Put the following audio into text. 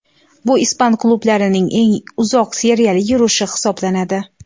Bu ispan klublarining eng uzoq seriyali yurishi hisoblanadi.